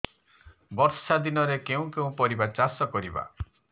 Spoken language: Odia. ବର୍ଷା ଦିନରେ କେଉଁ କେଉଁ ପରିବା ଚାଷ କରିବା